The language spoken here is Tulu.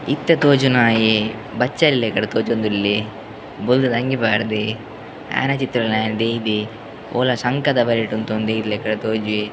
‌ ಇತ್ತೆ ತೋಜುನಾಯೆ ಬಚ್ಚಲೆ ಲಕಡ್ ತೋಜೊಂದುಲ್ಲೆ ಬೊಲ್ದು ದ ಅಂಗಿ ಪಾಡ್ಡೆ ಆಯೆನ ಚಿತ್ರನ್ಲ ಆಯೆ ದೈದೆ ಓಲ ಶಂಕದ ಬರಿಟ್ ಉಂತೊಂದು ದೈದಿಲಕಡ್ ತೋಜುವೆ ‌.